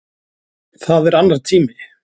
Það er annar tími.